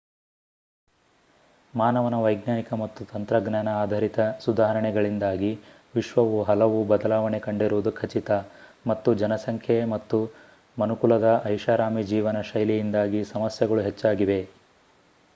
ಮಾನವನ ವೈಜ್ಞಾನಿಕ ಮತ್ತು ತಂತ್ರಜ್ಞಾನ ಆಧರಿತ ಸುಧಾರಣೆಗಳಿಂದಾಗಿ ವಿಶ್ವವು ಹಲವು ಬದಲಾವಣೆ ಕಂಡಿರುವುದು ಖಚಿತ ಮತ್ತು ಜನಸಂಖ್ಯೆ ಮತ್ತು ಮನುಕುಲದ ಐಷಾರಾಮಿ ಜೀವನ ಶೈಲಿಯಿಂದಾಗಿ ಸಮಸ್ಯೆಗಳು ಹೆಚ್ಚಾಗಿವೆ